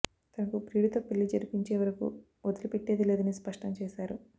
తనకు ప్రియుడితో పెళ్లి జరిపించే వరకు వదిలిపెట్టేది లేదని స్పష్టం చేశారు